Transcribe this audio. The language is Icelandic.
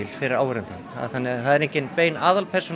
fyrir áhorfandann það er enginn aðalpersóna